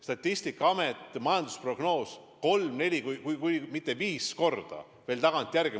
Statistikaameti majandusprognoosi võidakse kolm kuni neli, kui mitte viis korda veel tagantjärgi muuta.